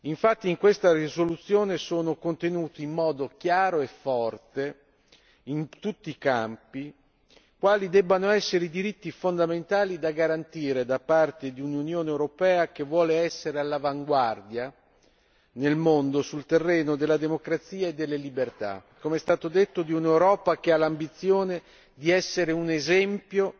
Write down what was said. Infatti, in questa risoluzione sono contenuti in modo chiaro e forte, in tutti i campi, quali debbano essere i diritti fondamentali da garantire da parte di un'Unione europea che vuole essere all'avanguardia nel mondo sul terreno della democrazia e delle libertà, come è stato detto di un'Europa che ha l'ambizione di essere un esempio